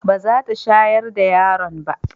ba za ta shayar da yaron ba